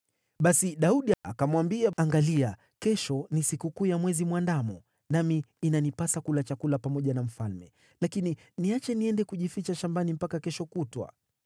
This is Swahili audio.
Basi Daudi akamwambia, “Angalia, kesho ni sikukuu ya Mwezi Mwandamo, nami inanipasa kula chakula pamoja na mfalme; lakini niache niende kujificha shambani mpaka kesho kutwa.